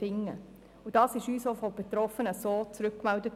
Dies wurde uns auch so von Betroffenen zurückgemeldet.